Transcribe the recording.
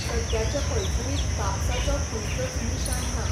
सद्याचे पैठणींत कापसाचो खंयचोच निशाण ना.